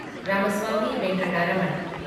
Ramaswamy Venkataraman